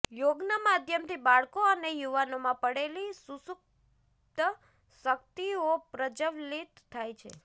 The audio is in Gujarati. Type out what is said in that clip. યોગના માધ્યમથી બાળકો અને યુવાનોમાં પડેલી શુસુપ્ત શકિતઓ પ્રજવલિત થાય છે